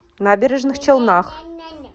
набережных челнах